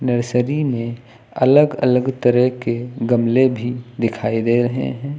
Nursery में अलग अलग तरह के गमले भी दिखाई दे रहे हैं।